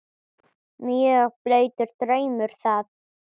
Mjög blautur draumur það.